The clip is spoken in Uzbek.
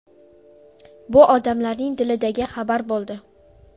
Bu odamlarning dilidagi xabar bo‘ldi.